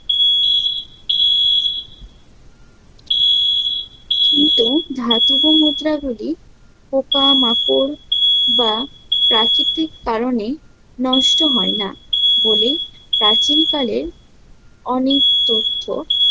কিন্তু ধাতব মুদ্রা গুলি পোকা-মাকড় বা প্রাকৃতিক কারণে নষ্ট হয় না বলে প্রাচীনকালের অনেক তথ্য